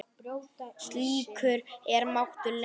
Slíkur er máttur Lenu.